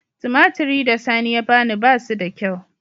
Tumatir da sani ya bani ba su da kyau.